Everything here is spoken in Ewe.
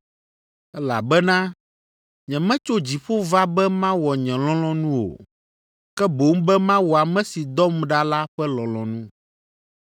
Elabena nyemetso dziƒo va be mawɔ nye lɔlɔ̃nu o, ke boŋ be mawɔ ame si dɔm ɖa la ƒe lɔlɔ̃nu.